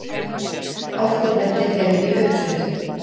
Hálkublettir eru í uppsveitum